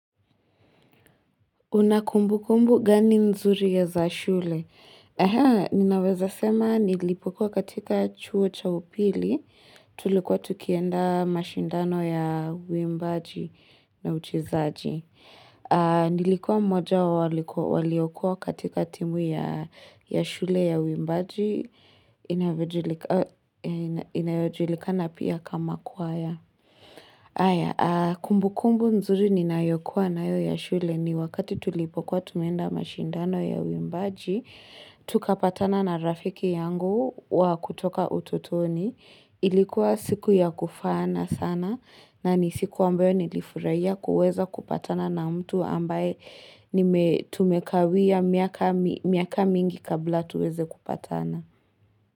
Una kumbukumbu gani nzuri ya za shule? Ninaweza sema nilipokua katika chuo cha upili, tulikuwa tukienda mashindano ya uimbaji na uchezaji. Nilikuwa mmoja wa waliokuwa katika timu ya shule ya uimbaji, inayojulikana pia kama kwaya. Aya, kumbukumbu nzuri ninayokuwa nayo ya shule ni wakati tulipokuwa tumeenda mashindano ya uimbaji, tukapatana na rafiki yangu wa kutoka utotoni. Ilikuwa siku ya kufana sana na ni siku ambayo nilifuraia kuweza kupatana na mtu ambaye tumekawia miaka mingi kabla tuweze kupatana.